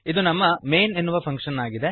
ಇದು ನಮ್ಮ ಮೈನ್ ಎನ್ನುವ ಫಂಕ್ಶನ್ ಆಗಿದೆ